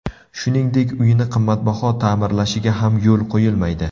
Shuningdek, uyini qimmatbaho ta’mirlashiga ham yo‘l qo‘yilmaydi.